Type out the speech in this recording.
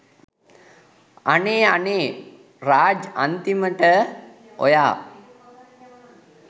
අනේ අනේ රාජ් අන්තිමට ඔයා